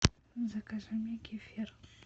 закажи мне кефир